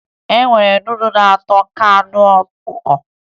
E nwere nudụ na-atọ ka anụ ọkụkọ